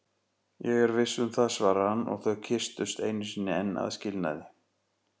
Ég er viss um það, svarar hann og þau kyssast einu sinni enn að skilnaði.